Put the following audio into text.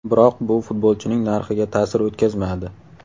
Biroq bu futbolchining narxiga ta’sir o‘tkazmadi.